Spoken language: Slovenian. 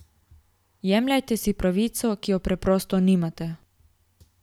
Jemljete si pravico, ki je preprosto nimate!